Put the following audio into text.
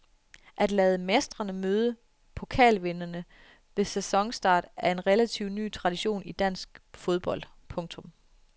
At lade mestrene møde pokalvinderne ved sæsonstart er en relativ ny tradition i dansk fodbold. punktum